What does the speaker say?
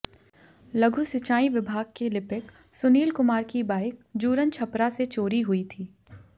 लघु सिंचाई विभाग के लिपिक सुनील कुमार की बाइक जूरनछपरा से चोरी हुई थी